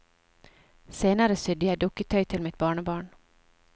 Senere sydde jeg dukketøy til mitt barnebarn.